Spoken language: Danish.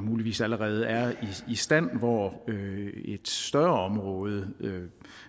muligvis allerede er i stand hvor et større område